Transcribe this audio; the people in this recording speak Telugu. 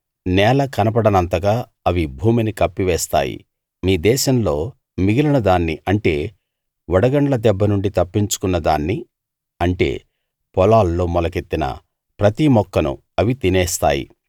నేల కనపడనంతగా అవి భూమిని కప్పివేస్తాయి మీ దేశంలో మిగిలిన దాన్ని అంటే వడగండ్ల దెబ్బ నుండి తప్పించుకున్నదాన్ని అంటే పొలాల్లో మొలకెత్తిన ప్రతి మొక్కనూ అవి తినేస్తాయి